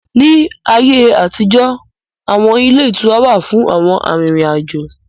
Ní ayé àtijó, awọn ilé ìtura wà fún àwọn arìnrìn-àjò